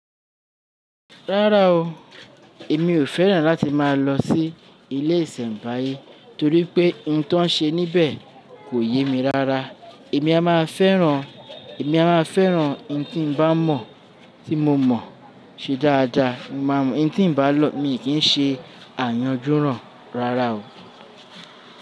Rárá o, èmi ò fẹ́ràn láti máa lọ sí ilé ìsẹ̀mbáyé torí pé ohun tó ń ṣe níbẹ̀ kò yé mi rárá. Èmi a máa fẹ́ràn, èmi a máa fẹ́ràn ohun tí n bá mọ̀, tí mo mọ̀ ṣe dáadáa. Ohun tí n bá lọ̀, mi kì í ṣe àyànjúrán rárá o.